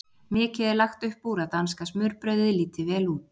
Mikið er lagt upp úr að danska smurbrauðið líti vel út.